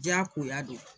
Jakoya de don